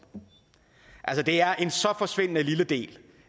altså det er en så forsvindende lille del